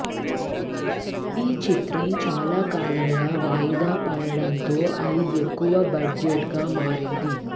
ఈ చిత్రం చాలా కాలంగా వాయిదా పడడం తో అది ఎక్కువ బడ్జెట్ గా మారింది